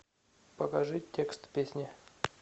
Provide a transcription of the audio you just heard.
покажи текст песни